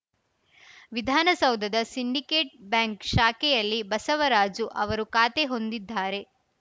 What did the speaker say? ವಿಧಾನಸೌಧದ ಸಿಂಡಿಕೇಟ್‌ ಬ್ಯಾಂಕ್‌ ಶಾಖೆಯಲ್ಲಿ ಬಸವರಾಜು ಅವರು ಖಾತೆ ಹೊಂದಿದ್ದಾರೆ